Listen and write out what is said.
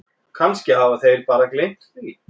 Kannski hafa þeir bara gleymt því.